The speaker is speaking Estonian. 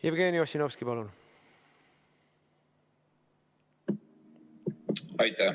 Jevgeni Ossinovski, palun!